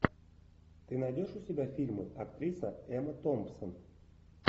ты найдешь у себя фильмы актриса эмма томпсон